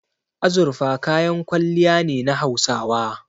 Azurfa kayan kwalliya ne na Hausawa.